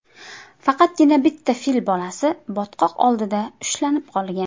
Faqatgina bitta fil bolasi botqoq oldida ushlanib qolgan.